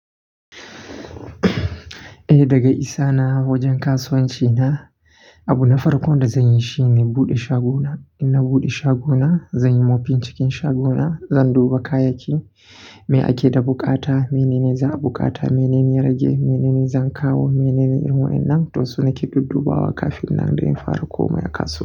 Eh daga isa na wajen kasuwanci na, abu na farko da zan yi shine buɗe shago na. In na buɗe shago na, zan yi mofing cikin shago na, zan duba kayayyaki. Me ake da bukata, menene za a bukata, menene ya rage, menene zan kawo, menene yawancin nan? To su na ke duddubawa kafin nan da in fara komawa kasuwa.